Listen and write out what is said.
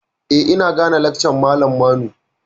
Eh, ina gane lakcan malam Manu.